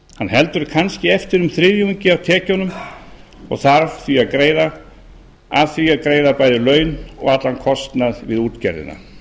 heldur kannski eftir um þriðjungi af tekjunum og þarf því að greiða af því bæði laun og allan kostnað við útgerðina